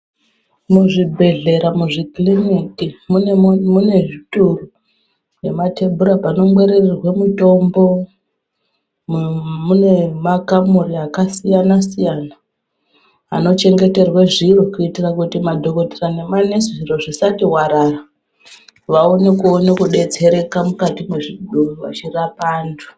Muzvibhedhlera, muzvikiliniki mune mune zvitoro nematebhura panongwaririrwe mutombo, mune makamuri akasiyana-siyana anochengeterwa zviro kuitire kuti madhokotera nemanesi, zviro zvisati warara vaone kuoneka kudetsereka mukati mechi vachirapa vantu.